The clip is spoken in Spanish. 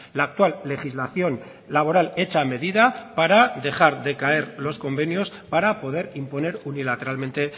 la actual legislación laboral hecha a medida para dejar de caer los convenios para poder imponer unilateralmente